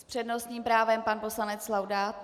S přednostním právem pan poslanec Laudát.